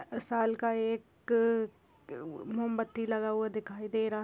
साल का एक मोमबत्ती लगा हुआ दिखाई दे रहा--